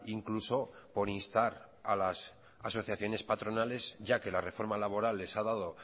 incluso por instar a las asociaciones patronales ya que la reforma laboral les ha dado